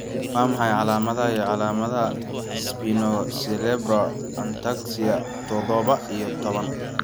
Waa maxay calaamadaha iyo calaamadaha Spinocerebellar ataxia todoba iyo toban?